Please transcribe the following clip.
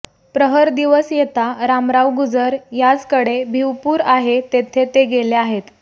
प्रहर दिवस येतां रामराव गुजर याजकडे भिवपूर आहे तेथे ते गेले आहेत